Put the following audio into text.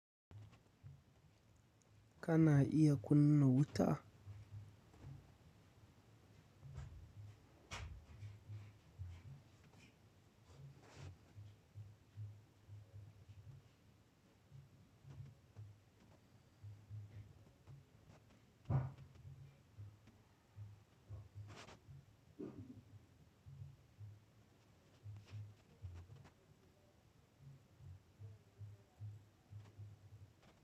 Kana iya kunna wuta?